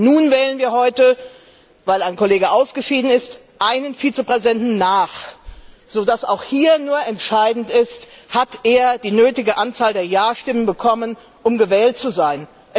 Nun wählen wir heute, weil ein Kollege ausgeschieden ist, einen Vizepräsidenten nach, so dass auch hier nur entscheidend ist, ob er die nötige Anzahl der Ja Stimmen bekommen hat, um gewählt zu sein.